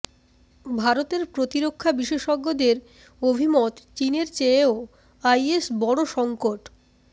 ভারতের প্রতিরক্ষা বিশেষজ্ঞদের অভিমত চীনের চেয়েও আইএস বড় সংকট